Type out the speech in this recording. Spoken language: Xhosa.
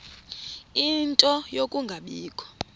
ie nto yokungabikho